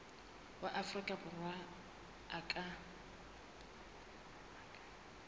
wa afrika borwa a ka